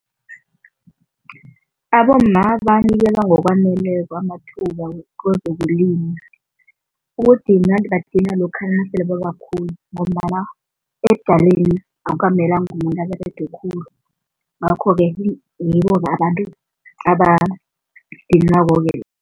Abomma banikelwa ngokwaneleko amathuba kwezokulima. Ukudinywa badinywa lokha nasele babakhulu ngombana ebudaleni akukamelenga umuntu aberege khulu ngakho-ke abantu